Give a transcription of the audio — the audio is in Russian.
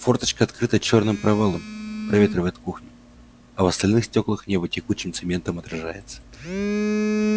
форточка открыта чёрным провалом проветривает кухню а в остальных стёклах небо текучим цементом отражается